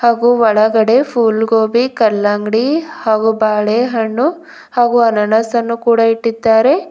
ಹಾಗು ಒಳಗಡೆ ಫುಲ್ ಗೋಬಿ ಕಲ್ಲಂಗಡಿ ಹಾಗು ಬಾಳೆಹಣ್ಣು ಹಾಗು ಅನಾನಸ್ ಅನ್ನು ಕೂಡ ಇಟ್ಟಿದ್ದಾರೆ.